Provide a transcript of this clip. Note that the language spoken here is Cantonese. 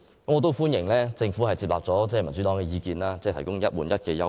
我亦歡迎政府接納民主黨的意見，提供"一換一"的優惠。